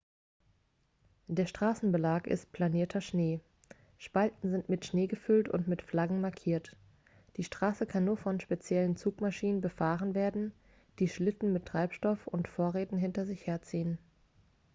der straßenbelag ist planierter schnee spalten sind mit schnee gefüllt und mit flaggen markiert die straße kann nur von speziellen zugmaschinen befahren werden die schlitten mit treibstoff und vorräten hinter sich herziehen